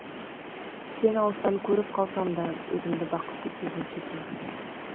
сені алыстан көріп қалсамда өзімді бақытты сезініп жүрдім